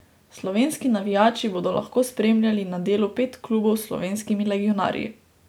Slovenski navijači bodo lahko spremljali na delu pet klubov s slovenskimi legionarji.